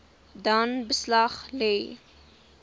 dan beslag lê